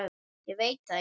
Ég veit það ekki!